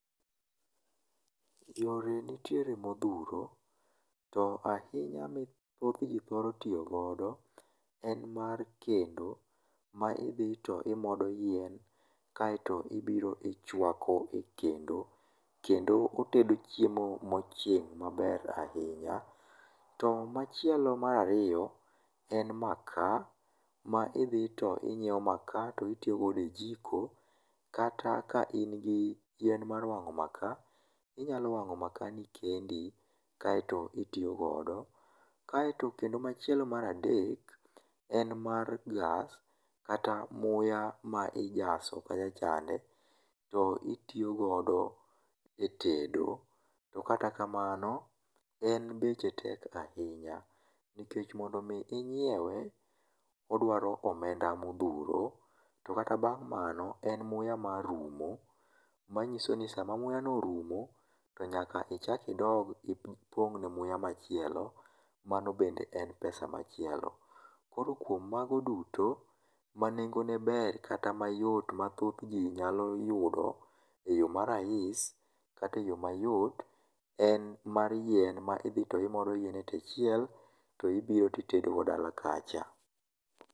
Yore nitiere modhuro to ahinya ma thothji thoro tiyo godo en mar kendo ma idhito imodo yien, kaeto ibiro ichuako kendo , kendo otedo chiemo mochwiny maber ahinya. To machielo mar ariyo en makaa, ma idhi to inyiewo makaa mtomitedo godo e jiko, kata ka in gi yien mar wang'o maka, inyalo wang'o makani kendi kaeto itiyo godo. Kaeto kendo machielo mar adek en mar gas kata muya ma ijaso kacha chande to itiyo godo etedo to mkata kamano en beche tek ahinya nikech mondo mi inyiewe odwaro omenda modhuro, to kata bang' mano, muya nya rumo manyiso ni sa mamauyano orumo, to nyaka ichak idog ipong'ne muya machielo. Mano bende en pesa machielo. Koro kuom mago duto, manengone ber kata yot ma thothji nyalo yudo eyo ma rais kata mayot en mar yien ma idhi to imodo yien e tie chiel to ibiro to itedo go dala kacha.